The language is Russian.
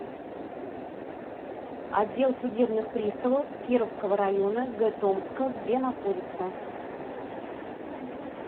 отдел судебных приставов кировского района г томска где находится